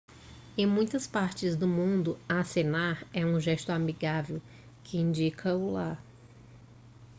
em muitas partes do mundo acenar é um gesto amigável que indica olá